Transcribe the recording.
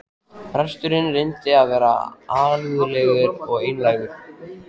Presturinn reyndi að vera alúðlegur og einlægur.